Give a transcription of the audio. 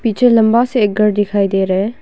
पीछे लंबा सा एक घर दिखाई दे रहा है।